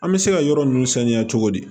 An bɛ se ka yɔrɔ ninnu saniya cogo di